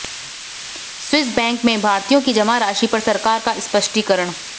Swiss bank में भारतीयों की जमा राशि पर सरकार का स्पष्टीकरण